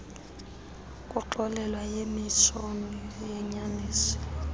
kuxolelwa yikomishoni yenyaniso